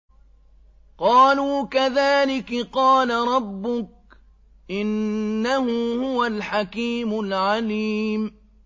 قَالُوا كَذَٰلِكِ قَالَ رَبُّكِ ۖ إِنَّهُ هُوَ الْحَكِيمُ الْعَلِيمُ